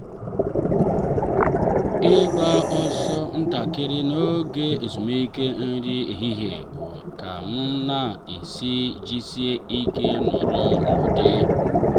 ịgba ọsọ ntakiri n'oge ezumike nri ehihie bụ ka m na-esi jisie ike nọrọ n'ụdị.